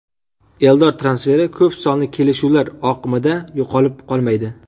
Eldor transferi ko‘p sonli kelishuvlar oqimida yo‘qolib qolmaydi.